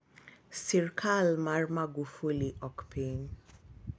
sirikal mar Magufuli ok piny